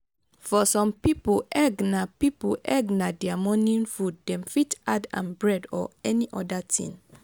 for some pipo egg na pipo egg na their morning food dem fit add am bread or any oda thing